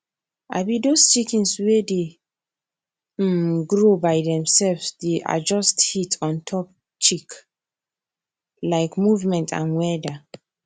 um those chicken way dey um grow by themselves dey adjust heat ontop chick like movement and weather